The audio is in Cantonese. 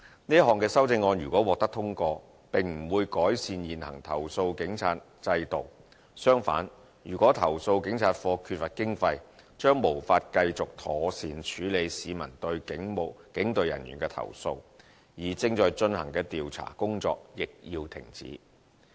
這項修正案如果獲得通過，並不會改善現行投訴警察制度，相反，如果投訴警察課缺乏經費，將無法繼續妥善處理市民對警隊人員的投訴，而正在進行的調查工作亦要停止。